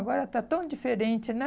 Agora está tão diferente, né?